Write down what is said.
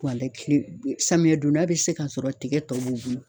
kile samiyɛ donda bɛ se ka sɔrɔ tigɛ tɔ b'u bolo